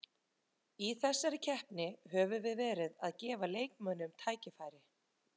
Í þessari keppni höfum við verið að gefa leikmönnum tækifæri.